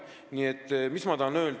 Nii et mida ma öelda tahan?